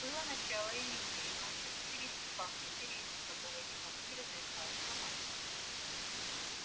было начало июня и ночи в училище пахли сиренью которую никому не разрешалось ломать